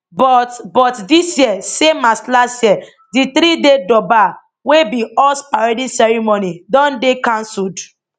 but but dis year same as last year di threeday durbar wey be horse parading ceremony don dey cancelled